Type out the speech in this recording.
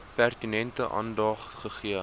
pertinente aandag gegee